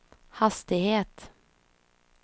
hastighet